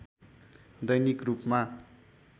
दैनिक रूपमा